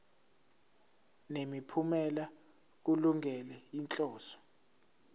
nemiphumela kulungele inhloso